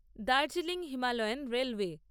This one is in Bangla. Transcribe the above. Darjeeling Himalayan railway